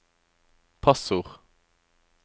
passord